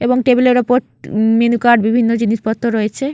এবং টেবিল এর ওপর উম মেন্যু কার্ড বিভিন্ন জিনিসপত্র রয়েছে।